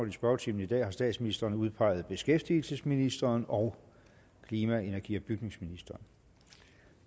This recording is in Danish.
i spørgetimen i dag har statsministeren udpeget beskæftigelsesministeren og klima energi og bygningsministeren